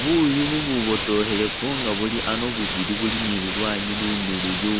Buuyu bububotokhelefu nga bulyano bubili ni lulwanyi lumiliyu